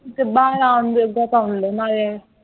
ਕਿੱਦਾਂ ਆਰਾਮ ਮਿਲਦਾ ਹੈ ਤਾਂ ਮਾਰਿਆ ਈ